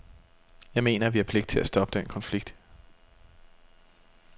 Jeg mener, at vi har pligt til at stoppe den konflikt.